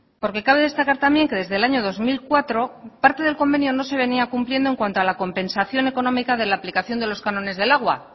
porque cabe destacar también que desde el año dos mil cuatro parte del convenio no se venía cumpliendo en cuanto a la compensación económica de la aplicación de los cánones del agua